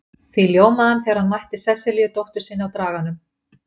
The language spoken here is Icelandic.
Því ljómaði hann þegar hann mætti Sesselíu dóttur sinni á Draganum.